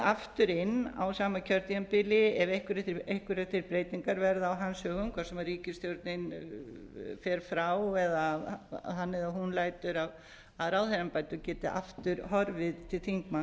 aftur inn á sam kjörtímabili eða einhverjar þær breytingar sem verða á hans höfum hvort sem ríkisstjórnin fer frá eða hann eða hún lætur af ráðherra embætti og geti aftur horfið til